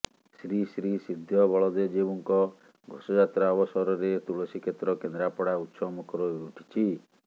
ଶ୍ରୀଶ୍ରୀ ସିଦ୍ଧ ବଳଦେବଜୀଉଙ୍କ ଘୋଷଯାତ୍ରା ଅବସରରେ ତୁଳସୀ କ୍ଷେତ୍ର କେନ୍ଦ୍ରାପଡ଼ା ଉତ୍ସବମୁଖର ହୋଇ ଉଠିଛି